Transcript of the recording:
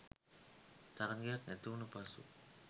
තරඟයක් ඇතිවුනු පසු